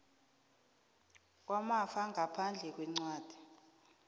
kwamafa ngaphandle kwencwadi